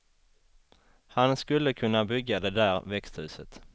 Han skulle kunna bygga det där växthuset.